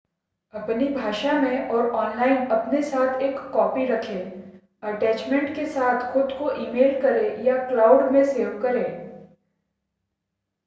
अपनी भाषा में और ऑनलाइन अपने पास एक कॉपी रखें अटैचमेंट के साथ खुद को ई-मेल करें या क्लाउड” में सेव करें